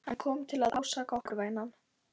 Hann kom til að ásaka okkur, vænan.